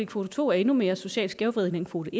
kvote to er endnu mere socialt skævvridende end kvote